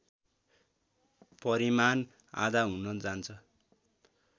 परिमाण आधा हुन जान्छ